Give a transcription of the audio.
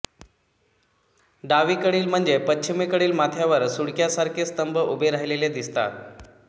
डावीकडील म्हणजे पश्चिमेकडील माथ्यावर सुळक्यासारखे स्तंभ उभे राहिलेले दिसतात